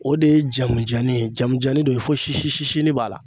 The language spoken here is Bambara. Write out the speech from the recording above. O de ye jamujani ye jamujani do ye fo sisisisinin b'a la.